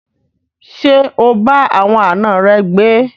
Ṣé o bá àwọn àna rẹ gbé?